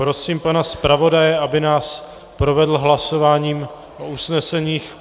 Prosím pana zpravodaje, aby nás provedl hlasováním o usneseních.